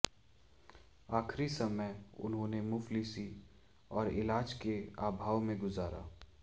आखिरी समय उन्होंने मुफलिसी और इलाज के अभाव में गुजारा